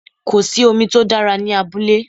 Kò sí omi tó dára ní abúlé